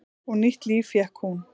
Og nýtt líf fékk hún.